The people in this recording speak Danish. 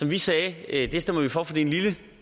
vi sagde at det stemmer vi for fordi det